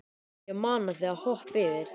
Ég mana þig að hoppa yfir.